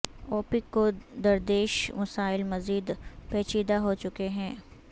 OPEC کو درپیش مسائل مزید پیچیدہ ہو چکے ہیں